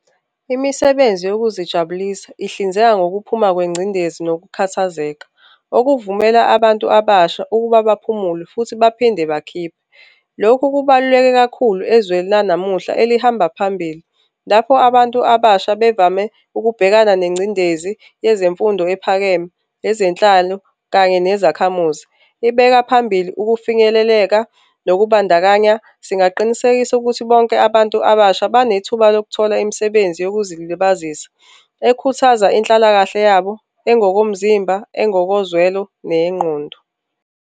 Imisebenzi yokuzijabulisa ihlinzeka ngokuphuma kwencindezi nokukhathazeka, okuvumela abantu abasha ukuba baphumule futhi baphinde bakhiphe. Lokhu kubaluleke kakhulu ezweni lanamuhla elihamba phambili, lapho abantu abasha bevame ukubhekana nengcindezi yezemfundo ephakeme nezenhlalo kanye nezakhamuzi. Ibeka phambili ukufinyeleleka nokubandakanya. Singaqinisekisa ukuthi bonke abantu abasha benethuba lokuthola imisebenzi yokuzilibazisa ekhuthaza inhlalakahle yabo engokomzimba, engokozwelo neyengqondo.